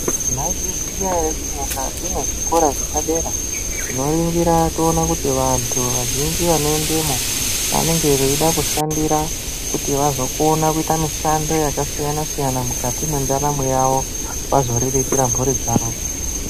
Maizviziya ere kuti mukati mwezvikora zvepadera tinori gira toone kuti vantu vazhinji vanoendemwo vanenge veida kushandira kuti vazokone kuite mishando yakasiyana siyana mukati mwendaramo yawo vazoriritire mhuri dzawo.